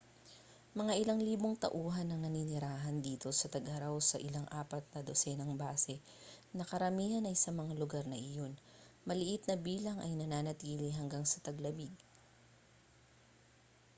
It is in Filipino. mga ilang libong tauhan ang naninirahan dito sa tag-araw sa ilang apat na dosenang base na karamihan ay sa mga lugar na iyon maliit na bilang ay nananatili hanggang sa taglamig